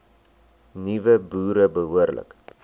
nuwe boere behoorlik